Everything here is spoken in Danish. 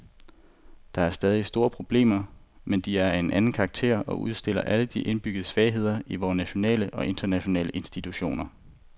Der er stadig store problemer, men de er af en anden karakter og udstiller alle de indbyggede svagheder i vore nationale og internationale institutioner.